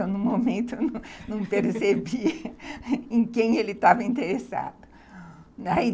Eu, no momento, não percebi em quem ele estava interessado.